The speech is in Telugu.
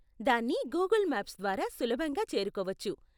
దాన్ని గూగుల్ మ్యాప్స్ ద్వారా సులభంగా చేరుకోవచ్చు.